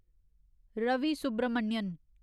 Ravi Subramanian